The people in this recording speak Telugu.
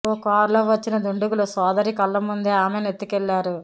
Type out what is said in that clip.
ఓ కారులో వచ్చిన దుండగులు సోదరి కళ్ల ముందే ఆమెను ఎత్తుకెళ్లారు